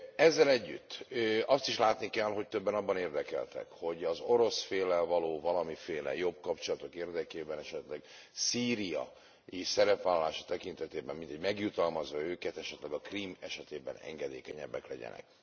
Ezzel együtt azt is látni kell, hogy többen abban érdekeltek, hogy az orosz féllel való valamiféle jobb kapcsolatok érdekében esetleg szíriai szerepvállalása tekintetében mintegy megjutalmazza őket, esetleg a Krím esetében engedékenyebbek legyenek.